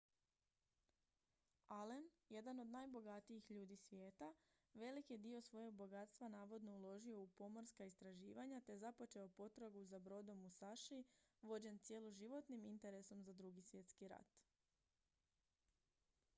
allen jedan od najbogatijih ljudi svijeta velik je dio svojeg bogatstva navodno uložio u pomorska istraživanja te započeo potragu za brodom musashi vođen cjeloživotnim interesom za drugi svjetski rat